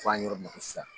Fɔ an ye yɔrɔ min fɔ sisan